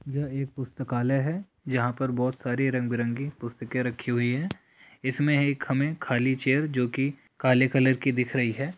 यह एक पुस्तकालय है जहां पर बोहोत सारे रंग बिरंगी पुस्तकें रखी हुए हैं इसमे एक हमें खाली चेयर जो कि काले कलर की दिख रही है ।